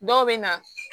Dɔw bɛ na